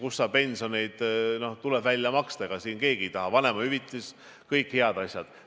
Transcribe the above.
Pensionid tuleb välja maksta, vanemahüvitis – kõik head asjad.